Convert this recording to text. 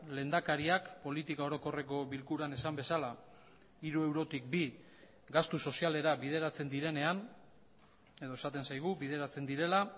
lehendakariak politika orokorreko bilkuran esan bezala hiru eurotik bi gastu sozialera bideratzen direnean edo esaten zaigu bideratzen direla